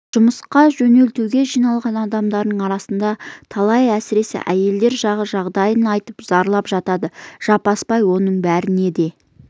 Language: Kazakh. жұмысқа жөнелтуге жиналған адамдардың арасынан да талайлар әсіресе әйелдер жағы жағдайын айтып зарлап жатады жаппасбай оның біріне де